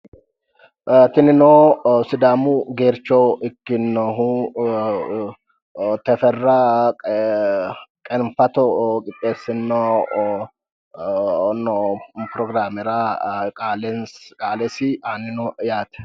Tinino Sidaamu geercho ikkinnohu Tefera Qeenfato qixxeessino pirogiraamera qaalesi aanni no yaate.